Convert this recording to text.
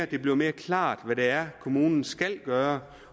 det bliver mere klart hvad det er kommunen skal gøre